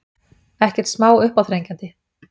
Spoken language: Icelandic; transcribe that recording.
Ekkert smá uppáþrengjandi.